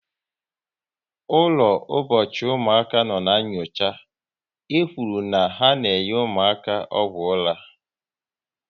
Ụlọ ụbọchị ụmụaka nọ n' nyocha, e kwụrụ na ha na enye ụmụaka ọgwụ ụra